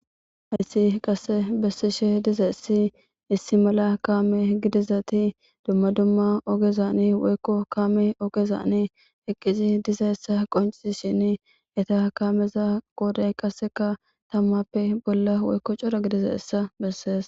Hayssi qasse bessishe diza issi issi mala kaame gidizati dumma dumma ogezani woykko kaame oogezaani eqqizi diza essa qoncisi shin eta kaameza qooday qasseka tammappe bolla woykko cora gidiza issa bessees.